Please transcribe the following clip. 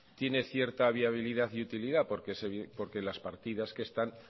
tiene cierta viabilidad y utilidad porque las partidas que están